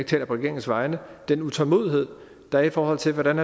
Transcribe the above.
taler på regeringens vegne den utålmodighed der er i forhold til hvordan